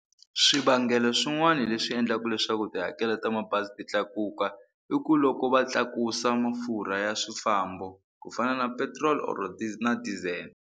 Swivangelo swin'wana leswi endlaka leswaku tihakelo ta mabazi ti tlakuka i ku loko va tlakusa mafurha ya swifambo ku fana na petrol or na diesel.